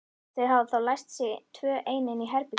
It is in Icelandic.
Þau hafa þá læst sig tvö ein inni í herberginu.